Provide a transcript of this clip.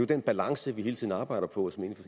den balance vi hele tiden arbejder på og som jeg